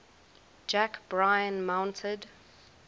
jack bryan mounted